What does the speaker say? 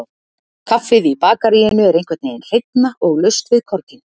Kaffið í bakaríinu er einhvernveginn hreinna, og laust við korginn.